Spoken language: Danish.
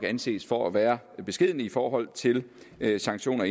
anses for at være beskedne i forhold til sanktioner